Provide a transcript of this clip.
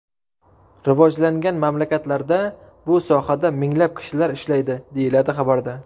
Rivojlangan mamlakatlarda bu sohada minglab kishilar ishlaydi, deyiladi xabarda.